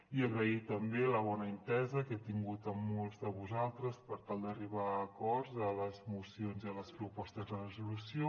i agrair també la bona entesa que he tingut amb molts de vosaltres per tal d’arribar a acords a les mocions i a les propostes de resolució